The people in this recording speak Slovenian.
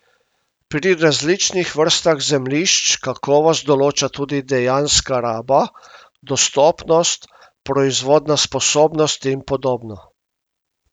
Pri različnih vrstah zemljišč kakovost določa tudi dejanska raba, dostopnost, proizvodna sposobnost in podobno.